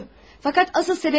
Fəqət əsl səbəb bu deyil.